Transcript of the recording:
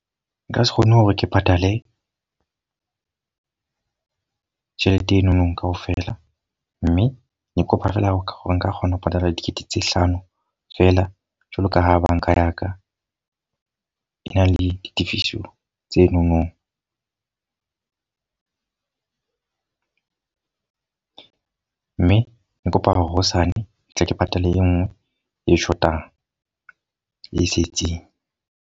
Nka se kgone hore ke patale tjhelete enono ka ofela. Mme ke kopa feela hore nka kgona ho patala dikete tse hlano fela. Jwalo ka ha banka ya ka e na le ditifiso tse nonong mme ke kopa hore hosane ke tle ke patale e nngwe e shotang, e setseng.